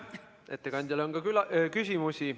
Ettekandjale on küsimusi.